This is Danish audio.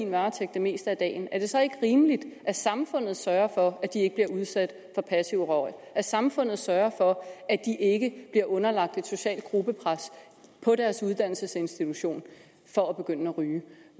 varetægt det meste af dagen er det så ikke rimeligt at samfundet sørger for at de ikke bliver udsat for passiv røg og at samfundet sørger for at de ikke bliver underlagt et socialt gruppepres på deres uddannelsesinstitution for at begynde at ryge